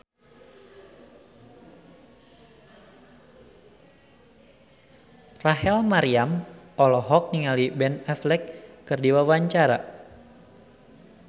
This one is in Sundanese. Rachel Maryam olohok ningali Ben Affleck keur diwawancara